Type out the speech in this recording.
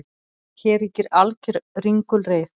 Hér ríkir alger ringulreið